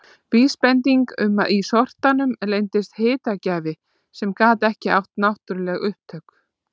Vísbending um að í sortanum leyndist hitagjafi sem gat ekki átt náttúruleg upptök.